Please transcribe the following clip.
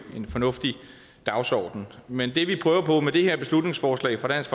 fornuftig dagsorden men det vi prøver på med det her beslutningsforslag fra dansk